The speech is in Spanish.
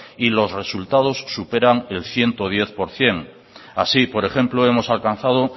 y los resultados superan el ciento diez por ciento así por ejemplo hemos alcanzado